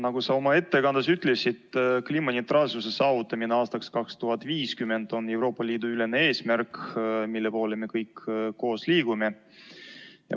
Nagu sa oma ettekandes ütlesid, kliimaneutraalsuse saavutamine aastaks 2050 on Euroopa Liidu ülene eesmärk, mille poole me kõik koos liigume.